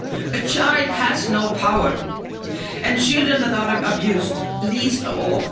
A child has no power, and children that are abused least of all.